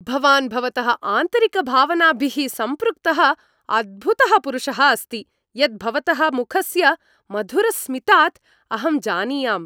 भवान् भवतः आन्तरिकभावनाभिः सम्पृक्तः अद्भुतः पुरुषः अस्ति, यत् भवतः मुखस्य मधुरस्मितात् अहं जानीयाम्।